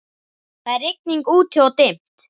Það er rigning úti-og dimmt.